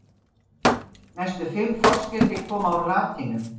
Næstu fimm forskeyti koma úr latínu.